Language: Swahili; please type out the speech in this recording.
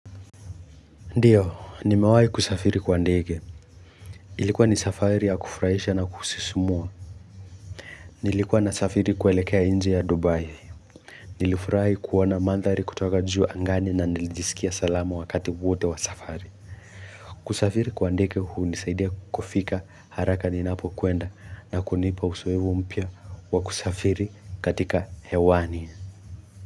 Ndiyo, nimewai kusafiri kwa ndege ilikuwa ni safari ya kufurahisha na kusisimua nilikuwa nasafari kuelekea nje ya dubai nilifurahi kuoana mandhari kutoka juu angani na nilijisikia salama wakati wote wa safari kusafiri kwa ndege hunisaidia kufika haraka ninapo kuenda na kunipa uzoefu mpya wa kusafiri katika hewani.